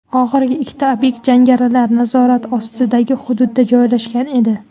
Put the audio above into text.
Oxirgi ikkita obyekt jangarilar nazorati ostidagi hududda joylashgan edi.